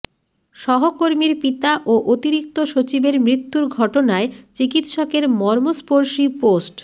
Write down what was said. সহকর্মীর পিতা ও অতিরিক্ত সচিবের মৃত্যুর ঘটনায় চিকিৎসকের মর্মস্পর্শী পোস্ট